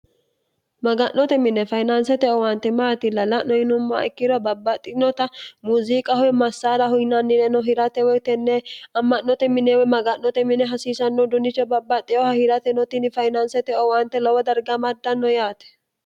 maga'note mine fayinaansete owaante maati la la'no yinummaa ikkiro babbaxxinota muziiqahowe massaala huyinannireno hirate woyitenne amma'note mineewe maga'note mine hasiisannoh dunicho babbaxxeyoha hirate notinni fainaansete owaante lowo dargamaddanno yaate